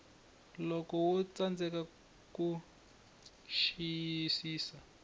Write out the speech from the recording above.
loko wo tsandzeka ku xiyisisa